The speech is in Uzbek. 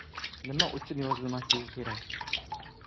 Nima uchun yozilmasligi kerak?